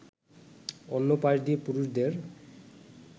অন্য পাশ দিয়ে পুরুষদের